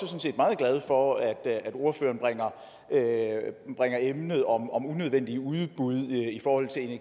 meget glad for at ordføreren bringer emnet om om unødvendige udbud